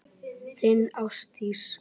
Þín, Ásdís.